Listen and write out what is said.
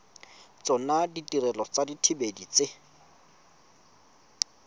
tsona ditirelo tsa dithibedi tse